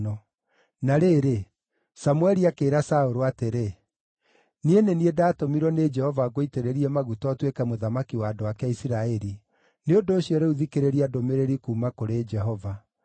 Na rĩrĩ, Samũeli akĩĩra Saũlũ atĩrĩ, “Niĩ nĩ niĩ ndatũmirwo nĩ Jehova ngũitĩrĩrie maguta ũtuĩke mũthamaki wa andũ ake a Isiraeli; nĩ ũndũ ũcio rĩu thikĩrĩria ndũmĩrĩri kuuma kũrĩ Jehova.